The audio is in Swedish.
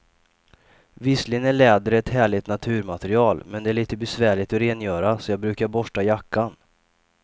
Visserligen är läder ett härligt naturmaterial, men det är lite besvärligt att rengöra, så jag brukar borsta jackan.